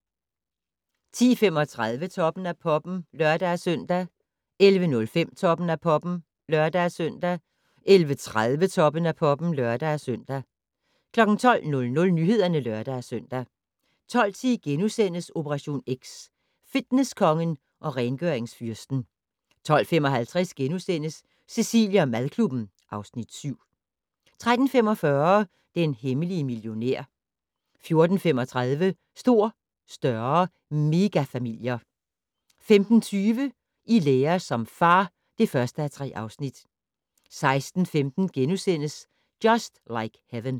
10:35: Toppen af Poppen (lør-søn) 11:05: Toppen af Poppen (lør-søn) 11:30: Toppen af Poppen (lør-søn) 12:00: Nyhederne (lør-søn) 12:10: Operation X: Fitnesskongen og rengøringsfyrsten * 12:55: Cecilie & madklubben (Afs. 7)* 13:45: Den hemmelige millionær 14:35: Stor, større - megafamilier 15:20: I lære som far (1:3) 16:15: Just Like Heaven *